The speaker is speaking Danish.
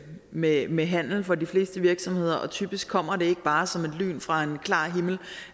med med handel for de fleste virksomheder og typisk kommer det ikke bare som et lyn fra en klar himmel